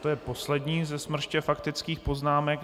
To je poslední ze smrště faktických poznámek.